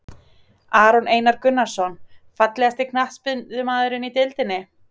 Aron Einar Gunnarsson Fallegasti knattspyrnumaðurinn í deildinni?